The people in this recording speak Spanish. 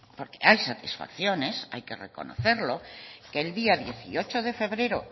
porque hay satisfacciones hay que reconocerlo que el día dieciocho de febrero